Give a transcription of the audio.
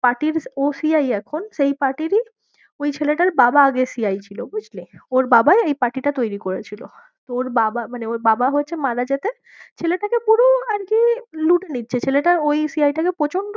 পার্টিরই ও CI এখন, সেই পার্টিরই ওই ছেলেটার বাবা আগে CI ছিল বুঝলি? ওর বাবাই এই পার্টিটা তৈরী করেছিল, তো ওর বাবা মানে ওর বাবা হচ্ছে ছেলে থাকে পুরো আর কি লুটে নিচ্ছে, ছেলেটা ওই CI টাকে